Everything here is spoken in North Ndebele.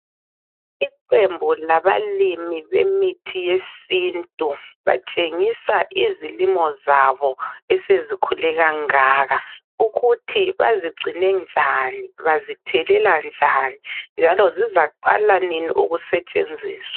Iqembu labalimi bemithi yesintu batshengisa izilimo zabo esezikhule kangaka ukuthi bazigcine, bazithelela njani, njalo zizaqala nini ukusetshenziswa.